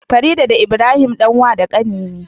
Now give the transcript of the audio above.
Farida da Ibrahim, Dan wa da kanine